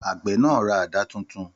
Àgbẹ̀ náà ra àdá tuntun.